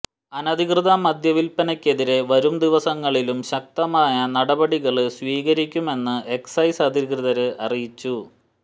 അനധികൃത മദ്യവില്പ്പനക്കെതിരെ വരും ദിവസങ്ങളിലും ശക്തമായ നടപടികള് സ്വീകരിക്കുമെന്ന് എക്സൈസ് അധികൃതര് അറിയിച്ചു